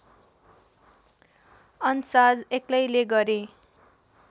अन्साज एक्लैले गरे